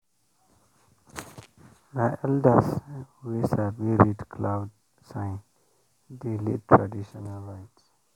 na elders wey sabi read cloud sign dey lead traditional rite.